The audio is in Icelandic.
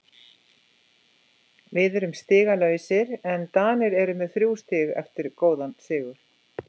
Við erum stigalausir en Danir eru með þrjú stig eftir góðan sigur.